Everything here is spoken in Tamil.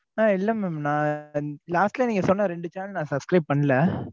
ஆஹ் இல்ல mam நான் last ல நீங்க சொன்ன ரெண்டு channel நான் subscribe பண்ணல.